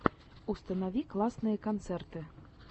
установи классные концерты